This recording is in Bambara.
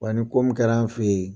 Wa ni ko min kɛra an fɛ yen